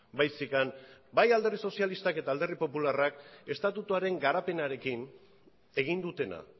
baizik eta bai alderdi sozialistak eta alderdi popularrak estatutuaren garapenarekin egin dutena